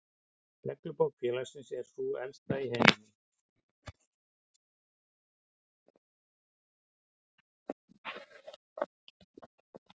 Reglubók félagsins er sú elsta í heiminum.